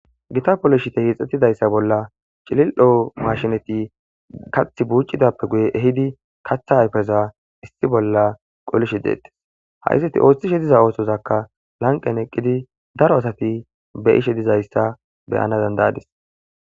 Gita polishite hidhetidaysa bola c'ilili'o matshineti kathi buc'izape guye ehidi katha ayfeza qolishe de'etes hayxeti othishe diza othizaka lanqen eqidi daro asati be'ishe dizaysa be'ana danda'adis.